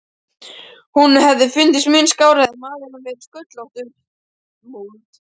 Honum hefði fundist mun skárra hefði maðurinn verið sköllóttur.